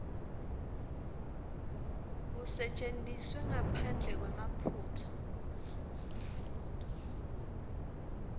kusetjentiswe ngaphandle kwemaphutsa